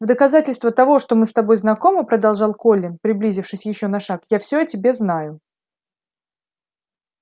в доказательство того что мы с тобой знакомы продолжал колин приблизившись ещё на шаг я всё о тебе знаю